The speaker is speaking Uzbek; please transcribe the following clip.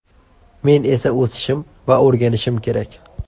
Men esa o‘sishim va o‘rganishim kerak.